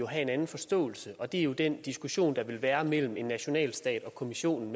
have en anden forståelse og det er jo den diskussion der vil være mellem en nationalstat og kommissionen